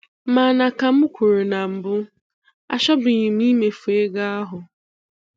Mana ka m kwuru na mbụ, achọbughịm imefu ego ahụ.